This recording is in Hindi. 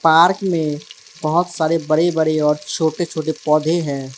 पार्क में बहुत सारे बड़े बड़े और छोटे छोटे पौधे हैं।